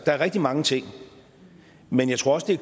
er rigtig mange ting men jeg tror også